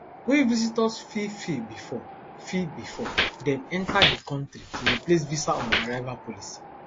wey visitors fit fill bifor fill bifor dem enta di kontri to replace visa on arrival policy